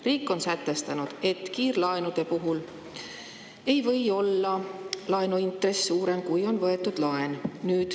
Riik on sätestanud, et kiirlaenude puhul ei või laenuintress olla suurem, kui on võetud laen.